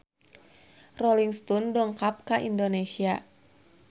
Rolling Stone dongkap ka Indonesia